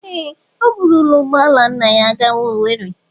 Ee! O burula ụgbọ ala nna ya gawa Owerri.